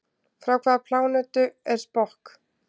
Frá hvaða plánetu er Spock?